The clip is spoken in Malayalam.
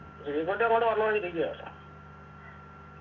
ശ്രീക്കുട്ടി കൂടി